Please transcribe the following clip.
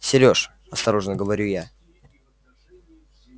сереж осторожно говорю я